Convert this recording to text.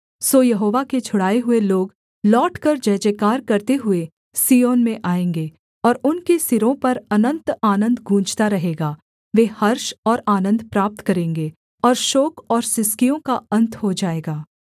सो यहोवा के छुड़ाए हुए लोग लौटकर जयजयकार करते हुए सिय्योन में आएँगे और उनके सिरों पर अनन्त आनन्द गूँजता रहेगा वे हर्ष और आनन्द प्राप्त करेंगे और शोक और सिसकियों का अन्त हो जाएगा